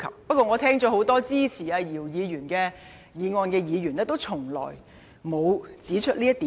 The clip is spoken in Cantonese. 不過，我聽罷很多支持姚議員議案的議員，卻沒有任何一人指出這一點。